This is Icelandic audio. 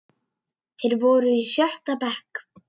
Þeir voru í sjötta bekk.